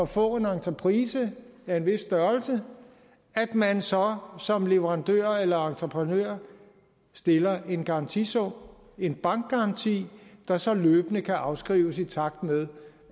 få en entreprise af en vis størrelse at man så som leverandør eller entreprenør stiller en garantisum en bankgaranti der så løbende kan afskrives i takt med